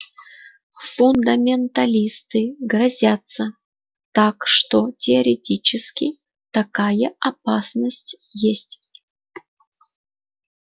фундаменталисты грозятся так что теоретически такая опасность есть